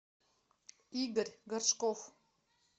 игорь горшков